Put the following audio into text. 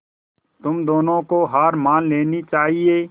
तुम दोनों को हार मान लेनी चाहियें